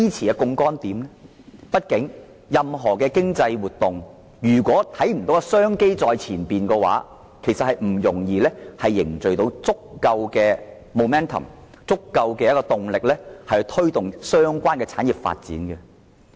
如果看不到任何經濟活動出現商機在前方的情況，便難以凝聚足夠的動力，以推動相關的產業發展。